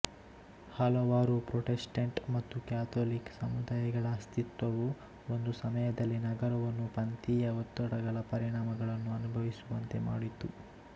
ಹಲವಾರು ಪ್ರೊಟೆಸ್ಟೆಂಟ್ ಮತ್ತು ಕ್ಯಾಥೋಲಿಕ್ ಸಮುದಾಯಗಳ ಅಸ್ತಿತ್ವವು ಒಂದು ಸಮಯದಲ್ಲಿ ನಗರವನ್ನು ಪಂಥೀಯ ಒತ್ತಡಗಳ ಪರಿಣಾಮಗಳನ್ನು ಅನುಭವಿಸುವಂತೆ ಮಾಡಿತು